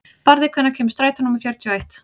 Barði, hvenær kemur strætó númer fjörutíu og eitt?